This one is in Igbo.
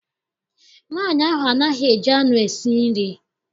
Nwaanyị ahụ anaghị eji anụ esi nri.